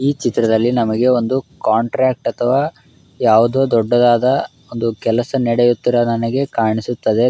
ಈ ಚಿತ್ರದಲ್ಲಿ ನಮಗೆ ಒಂದು ಕಾಂಟ್ರಾಕ್ಟ್ ಅಥವಾ ಯಾವುದೊ ದೊಡ್ಡದಾದ ಒಂದು ಕೆಲಸ ನಡೆಯುತ್ತಿರುವುದು ನನಗೆ ಕಾಣಿಸುತ್ತಿದೆ.